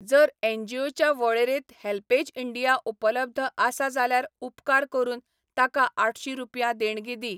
जर एनजीओच्या वळेरेंत हेल्पेज इंडिया उपलब्ध आसा जाल्यार उपकार करून ताका आठशीं रुपया देणगी दी.